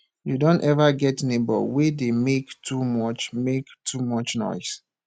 you don ever get neighbor wey dey make too much make too much noise